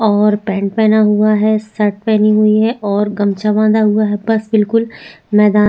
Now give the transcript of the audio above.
और पेंट पेहना हुआ है शर्ट पेहनी हुई है और गमछा बाधा हुआ है बस बिल्कुल मैदान--